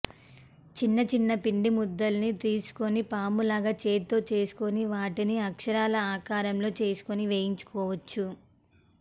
చిన్న చిన్న పిండి ముద్దల్ని తీస్కుని పాములాగా చేత్తొ చెస్కుని వాటిని అక్షరాల ఆకరంలొ చెస్కుని వెయించుకొవచ్చు